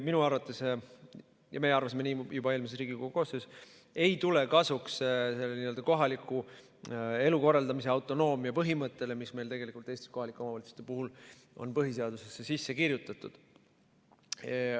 Minu arvates, ja meie arvasime nii juba eelmises Riigikogu koosseisus, ei tule see kasuks kohaliku elu korraldamise autonoomia põhimõttele, mis meil tegelikult Eestis kohalike omavalitsuste puhul on põhiseadusesse sisse kirjutatud.